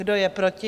Kdo je proti?